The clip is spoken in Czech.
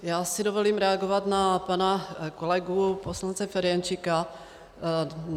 Já si dovolím reagovat na pana kolegu poslance Ferjenčíka.